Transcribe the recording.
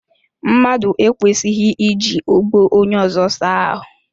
Mmadụ ekwesighi iji ogbo onye ọzọ saa ahụ.